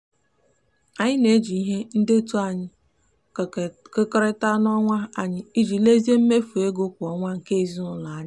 anyị na-eji ihe ndetu anyị kekọrịtara n'onwe anyị iji lezie mmefu ego kwa ọnwa nke ezinụụlọ anya.